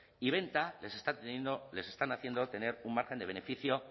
y venta les están haciendo tener un margen de beneficio